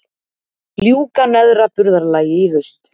Ljúka neðra burðarlagi í haust